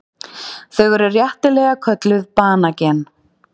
Þau eru réttilega kölluð banagen.